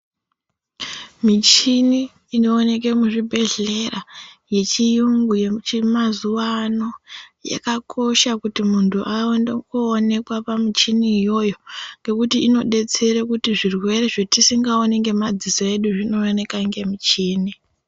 Michini inooneke muzvibhehlera yechiyungu yechimazuwa yakakosha kuti muntu aendeonekwa pamuchini iyoyo ngekuti inodetsere kuti zvirwere zvetisingaoni ngemadziso edu zvinooneka ngemuchini